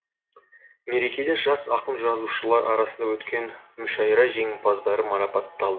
мерекеде жас ақын жазушылар арасында өткен мүшайра жеңімпаздары марапатталды